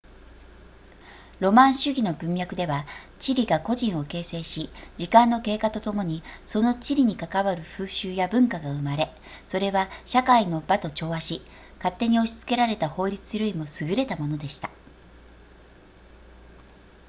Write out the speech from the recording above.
ロマン主義の文脈では地理が個人を形成し時間の経過とともにその地理に関わる風習や文化が生まれそれは社会の場と調和し勝手に押し付けられた法律よりも優れたものでした